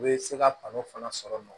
U bɛ se ka kanu fana sɔrɔ